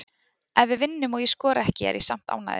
Ef við vinnum og ég skora ekki er ég samt ánægður.